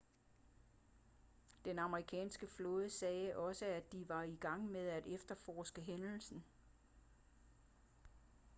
den amerikanske flåde sagde også at de var i gang med at efterforske hændelsen